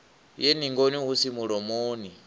ye ningoni hu si mulomoni